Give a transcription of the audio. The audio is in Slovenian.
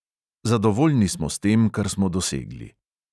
Zadovoljni smo s tem, kar smo dosegli.